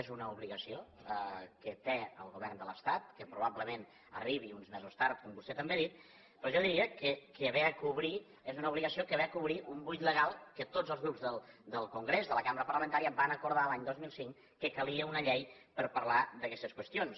és una obligació que té el govern de l’estat que probablement arribi uns mesos tard com vostè també ha dit però jo diria que ve a cobrir és una obligació que ve a cobrir un buit legal que tots els grups del congrés de la cambra parlamentària van acordar l’any dos mil cinc que calia una llei per parlar d’aquestes qüestions